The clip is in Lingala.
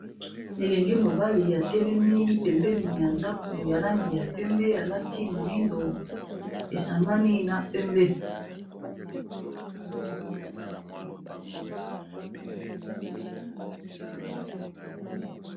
Elenge mobali atelemi pembeni ya ndako ya langi ya pembe, alati moyindo esangani na pembe.